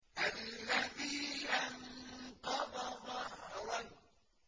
الَّذِي أَنقَضَ ظَهْرَكَ